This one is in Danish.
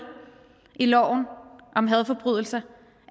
i loven om hadforbrydelser